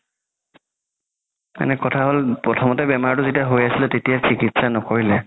মানে কথা হ'ল প্ৰথমতে যেতিয়া বেমাৰতো হয় আছিলে তেতিয়া কি চিকিৎসা নকৰিলে